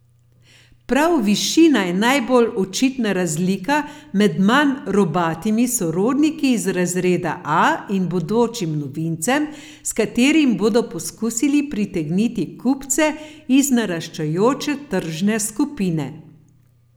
Prav višina je najbolj očitna razlika med manj robatimi sorodniki iz razreda A in bodočim novincem, s katerim bodo poskusili pritegniti kupce iz naraščajoče tržne skupine.